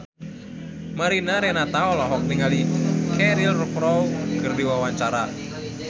Mariana Renata olohok ningali Cheryl Crow keur diwawancara